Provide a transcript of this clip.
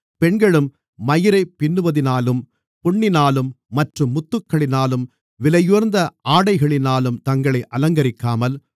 பெண்களும் மயிரைப் பின்னுவதினாலும் பொன்னினாலும் மற்றும் முத்துக்களினாலும் விலையுயர்ந்த ஆடைகளினாலும் தங்களை அலங்கரிக்காமல்